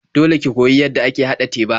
Dole ki koyi yadda ake haɗa teba.